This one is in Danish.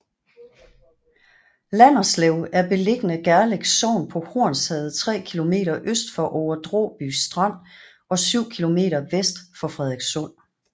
Landerslev er beliggende Gerlev Sogn på Hornsherred tre kilometer øst for Over Dråby Strand og syv kilometer vest for Frederikssund